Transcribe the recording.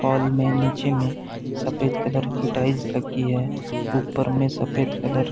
Hall में नीचे में सफ़ेद कलर की टाइल्स लगी हैं। ऊपर में सफ़ेद कलर --